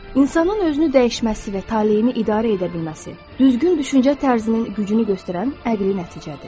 İnsanın özünü dəyişməsi və taleyini idarə edə bilməsi, düzgün düşüncə tərzinin gücünü göstərən əqli nəticədir.